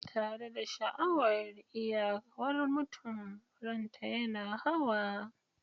tare da sha'awar iyawar mutum, ranta yana hawa.